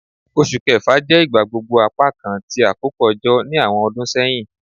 Oṣu Kẹfa jẹ igbagbogbo apakan ti akoko ojo ni awọn ọdun sẹhin